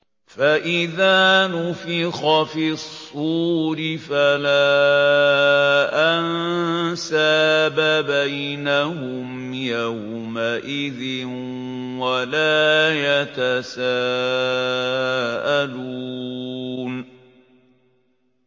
فَإِذَا نُفِخَ فِي الصُّورِ فَلَا أَنسَابَ بَيْنَهُمْ يَوْمَئِذٍ وَلَا يَتَسَاءَلُونَ